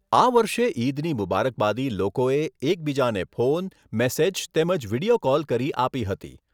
આ વર્ષે ઈદની મુબારકબાદી લોકોએ એકબીજાને ફોન, મેસેજ તેમજ વિડીયો કોલ કરી આપી હતી.